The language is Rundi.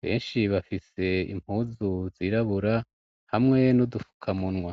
benshi bafise se impuzu zirabura hamwe niudufuka munwa.